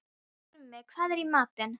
Krummi, hvað er í matinn?